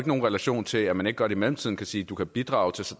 nogen relation til at man ikke godt i mellemtiden kan sige du kan bidrage til